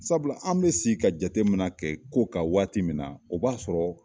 Sabula an bi se ka jatemina kɛ ko kan waati min na, o b'a sɔrɔ